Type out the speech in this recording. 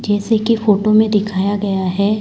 जैसे की फोटो में दिखाया गया है।